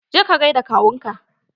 Je ka gaida kawun ka!